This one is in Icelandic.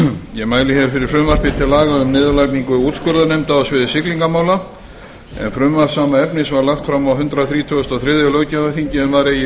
ég mæli fyrir frumvarpi til laga um niðurlagningu úrskurðarnefnda sviði siglingamála en frumvarp sama efnis var lagt fram á hundrað þrítugasta og þriðja löggjafarþingi en var eigi